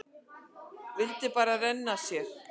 Vildi bara renna sér.